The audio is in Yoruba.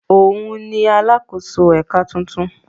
Òun ni “ alákòóso ẹ̀ka” tuntun.